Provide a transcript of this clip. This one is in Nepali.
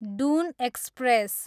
डुन एक्सप्रेस